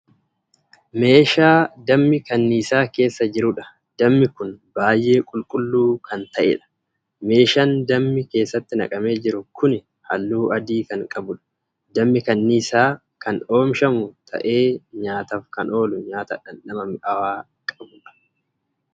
Meeshaa dammi kanniisaa keessa jiruudha. dammi Kuni baay'ee qulqulluu Kan ta'eedha. meeshaan dammi keessatti naqamee jiru Kuni halluu adii Kan qabuudha. dammi kanniisaan Kan oomishamu ta'ee nyaataaf Kan oolu nyaata dhandhama mi'aawaa qabuudha.